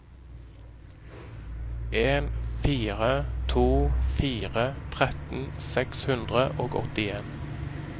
en fire to fire tretten seks hundre og åttien